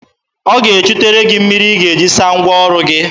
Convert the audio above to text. Ọ ga-echutere gị mmiri ị ga-eji saa ngwa ọrụ gị.